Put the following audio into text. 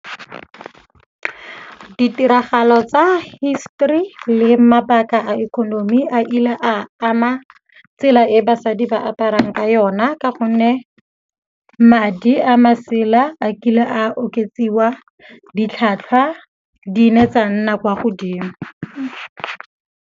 Ditiragalo tsa hisetori le mabaka a ikonomi a ile a ama tsela e basadi ba aparang ka yona ka gonne madi a masela a kile a oketsiwa, ditlhwatlhwa di ne tsa nna kwa godimo.